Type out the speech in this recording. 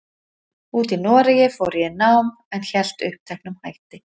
úti í Noregi fór ég í nám, en hélt uppteknum hætti.